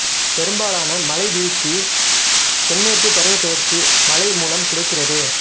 பெரும்பாலான மழைவீழ்ச்சி தென்மேற்குப் பருவப் பெயர்ச்சி மழை மூலம் கிடைக்கிறது